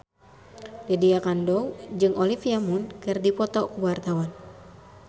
Lydia Kandou jeung Olivia Munn keur dipoto ku wartawan